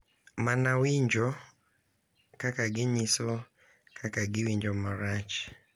Mana winjo kaka ginyiso kaka giwinjo marach .